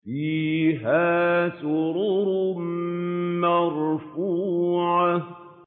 فِيهَا سُرُرٌ مَّرْفُوعَةٌ